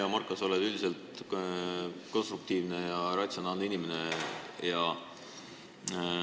Hea Marko, sa oled üldiselt konstruktiivne ja ratsionaalne inimene.